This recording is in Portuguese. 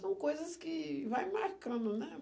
São coisas que vai marcando, né?